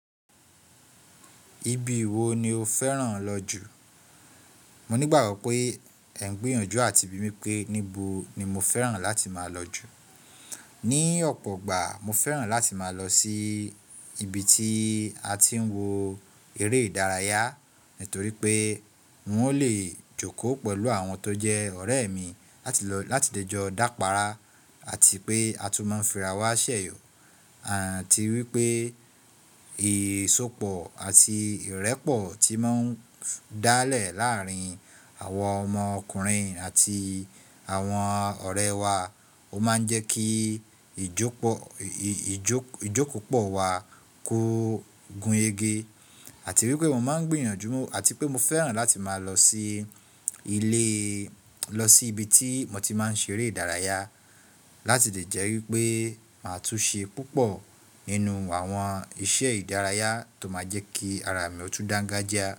Ibi wo ni o fẹ́ràn lọ jù? Mo nígbàgbọ́ pé ẹ ń gbìyànjú àti bi mí pé níbo ni mo fẹ́ràn láti máa lọ jù. Ni ọ̀pọ̀ gbà, mo fẹ́ràn láti máa lọ sí ibi tí a ti ń wo eré ìdárayá, torí pé n o lè jókòó pẹ̀lú àwọn tó jẹ́ ọ̀rẹ́ mi láti lè jọ dápára àti pé a tún máa ń fìrà wá ṣẹ̀yọ. Àti wípé ìsopọ̀ àti ìrẹ́pọ̀ tí ń máa ń dálẹ̀ láàárín àwa ọmọ ọkùnrin àti àwọn ọ̀rẹ́ wa, o máa ń jẹ́ kí ìjókòó pọ̀ wá kó gúrege. Àti wípé mo máa ń gbìyànjú àti pé mo fẹ́ràn láti máa lọ sí ilé, lọ sí ibi tí mo ti máa ṣe eré ìdárayá láti lè jẹ́ wípé màá tún ṣe púpọ̀ nínú àwọn iṣẹ́ ìdárayá tó máa jẹ́ kí ara mi ó tún dangajai.